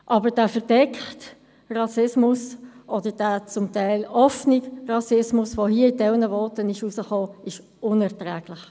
Hingegen ist der verdeckte Rassismus, oder der zum Teil offene Rassismus, der hier in einem Teil der Voten hervortrat, unerträglich.